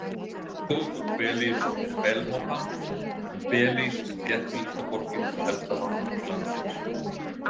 Höfuðborg Belís er Belmópan en Belís er þéttbýlasta borgin og helsta hafnarborg landsins.